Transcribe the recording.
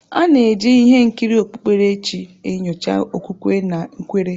A na-eji ihe nkiri okpukpere chi enyocha okwukwe na nkwere.